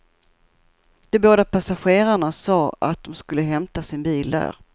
De båda passagerarna sade att de skulle hämta sin bil där.